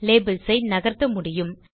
labels ஐ நகர்த்த முடியும்